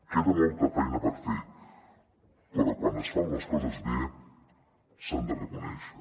queda molta feina per fer però quan es fan les coses bé s’han de reconèixer